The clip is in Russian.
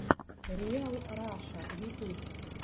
риал раша ютуб